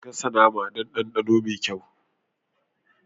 Gasa naman don dandano mai kyau